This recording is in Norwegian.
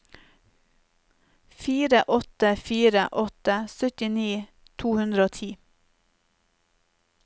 fire åtte fire åtte syttini to hundre og ti